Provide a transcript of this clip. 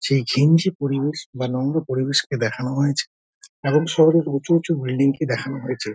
সেই ঘিনঝি পরিবেশ বা নম্র পরিবেশকে দেখানো হয়েছে এবং শহরের উঁচু উঁচু বিল্ডিং দেখানো হয়েছে।